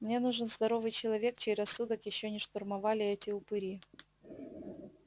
мне нужен здоровый человек чей рассудок ещё не штурмовали эти упыри